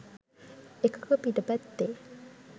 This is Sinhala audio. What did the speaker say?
එකක පිට පැත්තේ